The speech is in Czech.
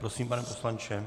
Prosím, pane poslanče.